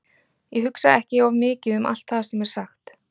Ég hugsa ekki of mikið um allt það sem er sagt.